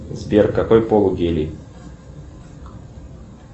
сбер какой пол у гели